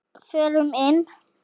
Förum inn.